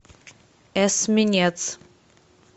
эсминец